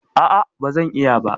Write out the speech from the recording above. ah ah, bazan iya ba